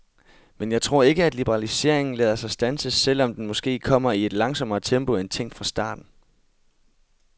Men jeg tror ikke, at liberaliseringen lader sig standse, selv om den måske kommer i et langsommere tempo end tænkt fra starten.